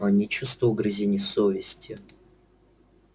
он не чувствовал угрызения совести